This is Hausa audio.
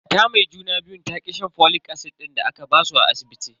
Mata mai juna biyun ta ki shan folic acid din da aka basu a asibiti.